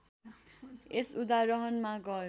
यस उदाहरणमा घर